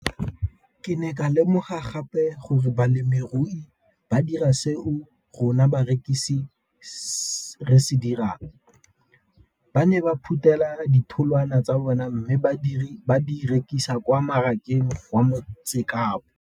Ke ne ka lemoga gape gore balemirui ba dira seo rona barekisi re se dirang, ba ne ba phuthela ditholwana tsa bona mme ba di rekisa kwa marakeng wa Motsekapa.